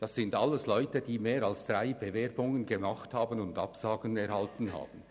Die Lehrlinge dort sind alles Leute, die mehr als drei Bewerbungen geschrieben und nur Absagen erhalten haben.